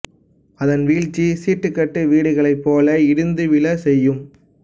அதன் வீழ்ச்சி சீட்டு கட்டு வீடுகளைப் போல இடிந்து விழச்செய்யும்